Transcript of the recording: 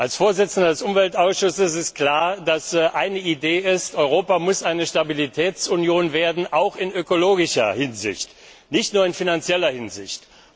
Als Vorsitzender des Umweltausschusses ist mir eine Idee klar Europa muss eine Stabilitätsunion werden auch in ökologischer Hinsicht und nicht nur in finanzieller Hinsicht.